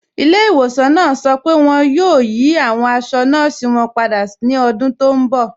Ìlẹ̀-ìwọ̀sàn náà sọ pé wọn yóò yí awọn àṣọ̀ nọọ̀sí wọn pádà ní ọ̀dún tó nbọ̀